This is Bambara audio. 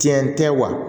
Tiɲɛ tɛ wa